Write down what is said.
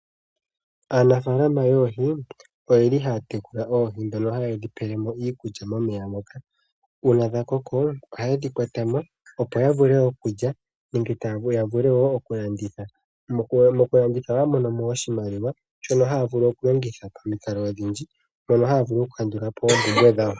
Aanafaalama yOohi oyeli haya tekula oohi dhono haye dhi pele mo iikulya momeya moka. Uuna dha koko oha yedhi kwata mo, opo ya vule okulya nenge ya vule wo oku landitha. Moku landitha ohaya mono mo oshimaliwa shono haya vulu oku longitha pamikalo odhindji mono haya vulu oku kandula po oompumbwe dhawo.